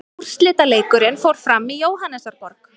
Úrslitaleikurinn fór fram í Jóhannesarborg.